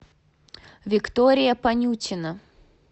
виктория понютина